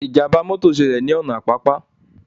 Ìjàmbá mọ́tọ̀ ṣẹlẹ̀ ní ọ̀nà Àpápá